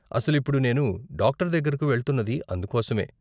అసలు ఇప్పుడు నేను డాక్టర్ దగ్గరకు వెళ్తున్నది అందుకోసమే.